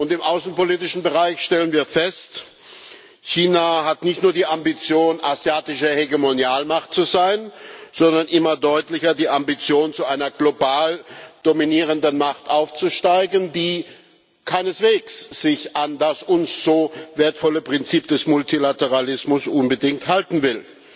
Im außenpolitischen Bereich stellen wir fest China hat nicht nur die Ambition, asiatische Hegemonialmacht zu sein, sondern immer deutlicher die Ambition, zu einer global dominierenden Macht aufzusteigen, die sich keineswegs unbedingt an das uns so wertvolle Prinzip des Multilateralismus halten will.